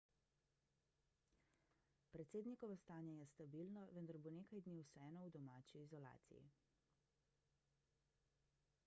predsednikovo stanje je stabilno vendar bo nekaj dni vseeno v domači izolaciji